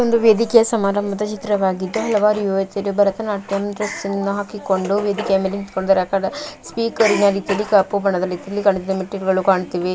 ಇದು ಒಂದು ವೇದಿಕೆಯ ಸಮಾರಂಭದ ಚಿತ್ರವಾಗಿದ್ದು ಹಲವಾರು ಯುವತಿಯರು ಭರತನಾಟ್ಯಂ ಡ್ರೆಸ್ ಅನ್ನು ಹಾಕಿಕೊಂಡು ವೇದಿಕೆ ಮೇಲೆ ನಿಂತುಕೊಂಡಿದ್ದಾರೆ ಆ ಕಡೆ ಸ್ಪೀಕರ್ ನ ರೀತಿಯಲ್ಲಿ ಕಪ್ಪು ಬಣ್ಣದ ರೀತಿಯಲ್ಲಿ ಮೆಟ್ಟಿಲುಗಳು ಕಾಣುತ್ತಿವೆ.